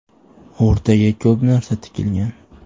O‘rtaga ko‘p narsa tikilgan.